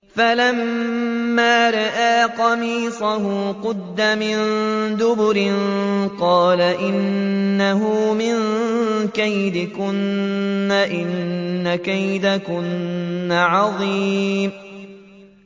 فَلَمَّا رَأَىٰ قَمِيصَهُ قُدَّ مِن دُبُرٍ قَالَ إِنَّهُ مِن كَيْدِكُنَّ ۖ إِنَّ كَيْدَكُنَّ عَظِيمٌ